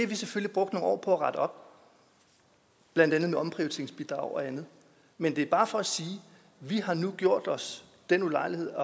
vi selvfølgelig brugt nogle år på at rette op blandt andet med omprioriteringsbidrag og andet men det er bare for at sige vi har nu gjort os den ulejlighed